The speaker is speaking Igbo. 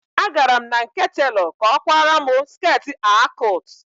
Agara m na nke telọ ka ọ kwara mụ skirtị A cụt